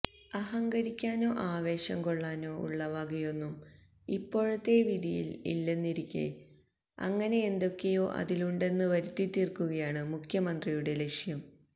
അഹങ്കരിക്കാനോ ആവേശംകൊള്ളാനോ ഉള്ള വകയൊന്നും ഇപ്പോഴത്തെ വിധിയില് ഇല്ലെന്നിരിക്കെ അങ്ങനെയെന്തൊക്കെയോ അതിലുണ്ടെന്ന് വരുത്തിത്തീര്ക്കുകയാണ് മുഖ്യമന്ത്രിയുടെ ലക്ഷ്യം